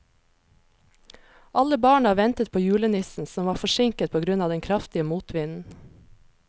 Alle barna ventet på julenissen, som var forsinket på grunn av den kraftige motvinden.